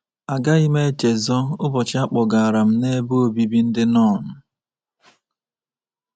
Agaghị m echezọ ụbọchị a kpọgara m n’ebe obibi ndị nọn.